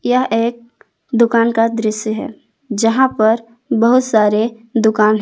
यह एक दुकान का दृश्य है जहां पर बहुत सारे दुकान है।